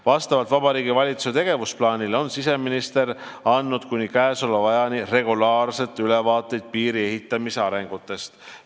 Vastavalt Vabariigi Valitsuse tegevusplaanile on siseminister andnud kuni käesoleva ajani regulaarselt ülevaateid piiri ehitamise arengutest.